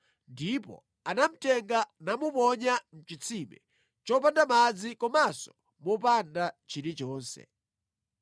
ndipo anamutenga namuponya mʼchitsime chopanda madzi komanso mopanda chilichonse.